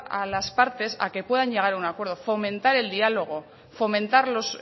a las partes a que puedan llegar a un acuerdo fomentar el diálogo fomentar los